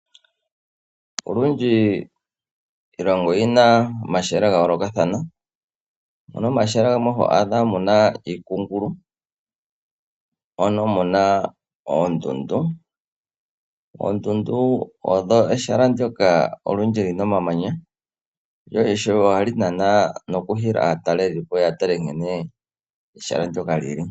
Olundji iilonga oyina omahala ga yoolokathana, opuna omahala ngoka gamwe to adha muna iikungulu mono muna oondundu. Oondundu odho ehala ndoka olundji lina omamanya lyo ishewe ohali nana nokuhila aatalelipo yatale nkene ehala ndoka lili.